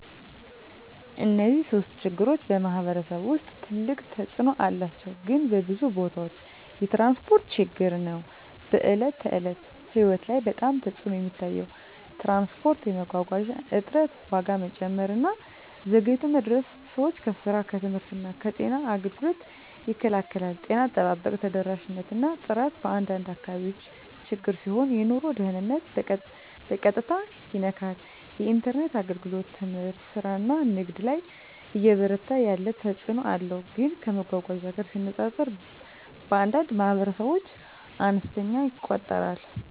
እነዚህ ሶስቱም ችግሮች በማኅበረሰብ ውስጥ ትልቅ ተፅእኖ አላቸው፣ ግን በብዙ ቦታዎች የትራንስፖርት ችግር ነው በዕለት ተዕለት ሕይወት ላይ በጣም ተፅዕኖ የሚታየው። ትራንስፖርት የመጓጓዣ እጥረት፣ ዋጋ መጨመር እና ዘግይቶ መድረስ ሰዎችን ከስራ፣ ከትምህርት እና ከጤና አገልግሎት ይከላከላል። ጤና አጠባበቅ ተደራሽነት እና ጥራት በአንዳንድ አካባቢዎች ችግር ሲሆን የኑሮ ደህንነትን በቀጥታ ይነካል። የኢንተርኔት አገልግሎት ትምህርት፣ ስራ እና ንግድ ላይ እየበረታ ያለ ተፅእኖ አለው፣ ግን ከመጓጓዣ ጋር ሲነጻጸር በአንዳንድ ማኅበረሰቦች አነስተኛ ይቆጠራል።